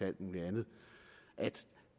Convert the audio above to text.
alt muligt andet at